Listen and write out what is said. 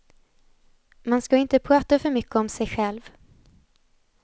Man ska inte prata för mycket om sig själv.